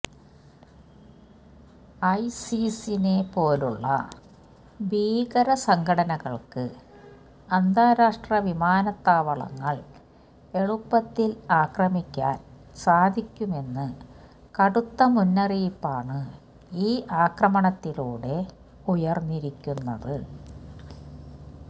ഐസിസിനെ പോലുള്ള ഭീകര സംഘടനകൾക്ക് അന്താരാഷ്ട്ര വിമാനത്താവളങ്ങൾ എളുപ്പത്തിൽ ആക്രമിക്കാൻ സാധിക്കുമെന്ന് കടുത്ത മുന്നറിയിപ്പാണ് ഈ ആക്രമണത്തിലൂടെ ഉയർന്നിരിക്കുന്നത്